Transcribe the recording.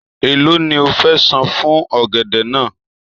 Èló ni o fẹ san fún ọ̀gẹ̀dẹ̀ náà?